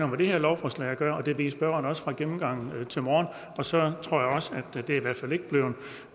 med det her lovforslag at gøre og det ved spørgeren også godt fra gennemgangen her til morgen og så tror jeg også